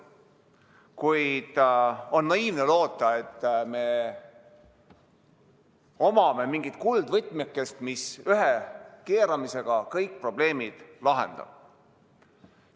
Kuid on naiivne loota, et meil on mingi kuldvõtmeke, mis ühe keeramisega kõik probleemid lahendab.